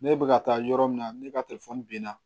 Ne bɛ ka taa yɔrɔ min na ne ka binna